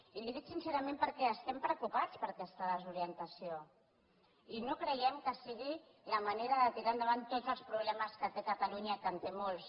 i li ho dic sincerament perquè estem preocupats per aquesta desorientació i no creiem que sigui la manera de tirar endavant tots els problemes que té catalunya que en té molts